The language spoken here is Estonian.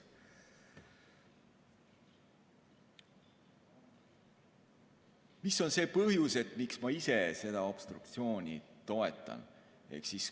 Mis on see põhjus, miks ma ise seda obstruktsiooni toetan?